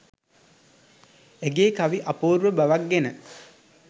ඇයගේ කවි අපූර්ව බවක් ගෙන